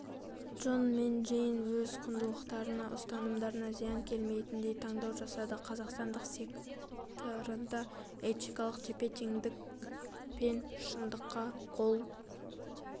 джон мен джейн өз құндылықтарына-ұстанымдарына зиян келмейтіндей таңдау жасады қазақстандық секторында этикалық тепе-теңдік пен шындыққа қол